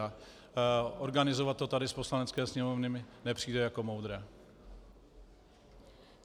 A organizovat to tady z Poslanecké sněmovny mi nepřijde jako moudré.